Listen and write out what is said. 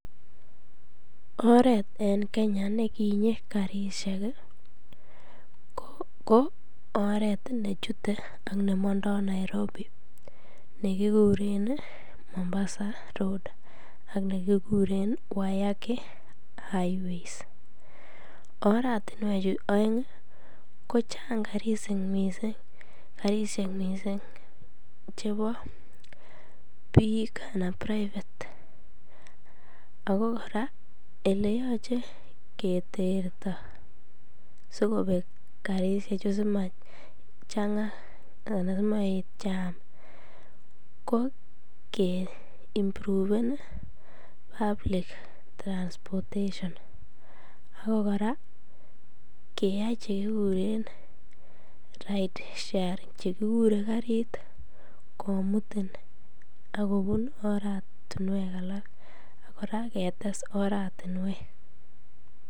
Oreet en kenya nekinyi karishek ko oreet nechute ak nemondo Nairobi nekikuren Mombasa road ak nekikuren Wayaki highways, oratinwechu oeng kochang karishek mising chebo biik anan private ak ko kora eleyoche keterto sikobek karishechu sima changa anan simoet chaam ko ke impruven public transportation, ak ko kora keyai chekikuren ride sharing chekikure karit komutin ak kobun oratinwek alak ak kora ketes oratinwek.